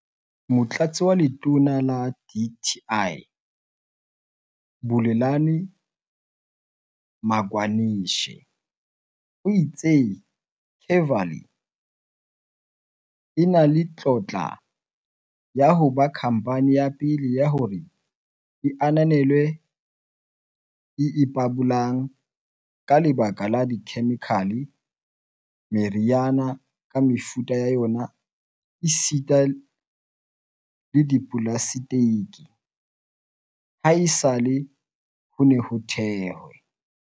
Motlatsi wa Letona la dti, Bulelani Magwanishe, o itse Kevali e na le tlotla ya ho ba khamphane ya pele ya hore e ananelwe e ipabolang ka lekala la dikhemikhale, meriana ka mefuta ya yona esita le dipolaseteke, haesale ho ne ho thehwe